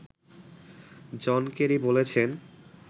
জন Kerry বলেছেন